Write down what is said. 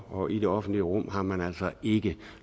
og i det offentlige rum har man altså ikke